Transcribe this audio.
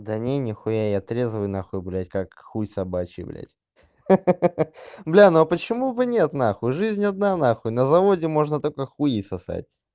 да не нехуя я трезвый нахуй блять как хуй собачий блять бля ну почему бы нет нахуй жизнь одна нахуй на заводе можно только хуи сосать